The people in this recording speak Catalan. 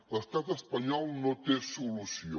l’estat espanyol no té solució